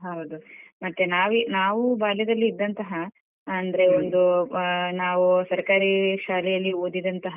ಹೌದು ಮತ್ತೆ ನಾವಿ~ ನಾವು ಬಾಲ್ಯದಲ್ಲಿದಂತಹ ಅಂದ್ರೆ ಒಂದು ನಾವು ಸರ್ಕಾರಿ ಶಾಲೆಯಲ್ಲಿ ಓದಿದಂತಹ.